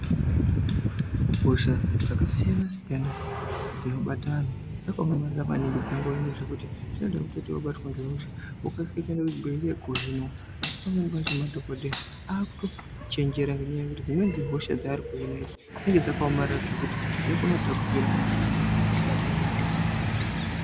Hosha dzakasiyana siyana dzinobata antu dzakaomarara maningi dzingori yo. Ngekuti zvinoda kutoti wabatwa ngehosha wokasike kuenda kuchibhedhleya kohinwa. Asi pamweni pacho madhokodheya akutochenjera ngenyaya yekuti dzimweni dzehosha dzaari kuhina dzinenge dzakaomarara zvekuti dzinokona kutapukira vakasabata zvakanaka.